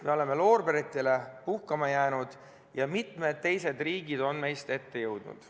Me oleme loorberitele puhkama jäänud ja mitmed teised riigid on meist ette jõudnud.